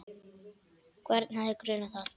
Hvern hefði grunað það?